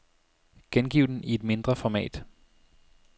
Gengiv den i et mindre format.